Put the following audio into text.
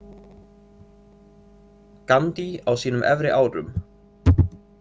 Gandhi á sínum efri árum.